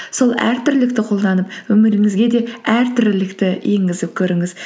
сол әртүрлілікті қолданып өміріңізге де әртүрлілікті енгізіп көріңіз